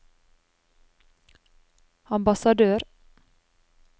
ambassadør